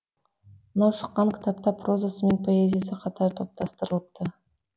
мынау шыққан кітапта прозасы мен поэзиясы қатар топтастырылыпты